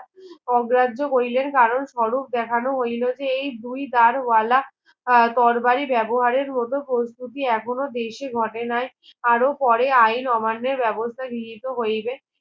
অগ্রাহ্য করিলেন কারণস্বরূপ দেখানো হইল যে এই দুই গাড়ওয়ালা আহ তরবারি ব্যবহারের হতো কস্তুকী এখনো দেশে ঘটনাই আরো পরে আইন অমান্যের বেবস্থা গৃহীত হইবে